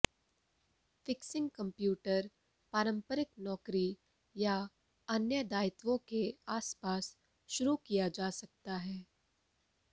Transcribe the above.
fixing computer पारंपरिक नौकरी या अन्य दायित्वों के आसपास शुरू किया जा सकता है